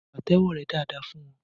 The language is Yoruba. Pàtẹ́wọ́ rẹ dáadáa fún wọn!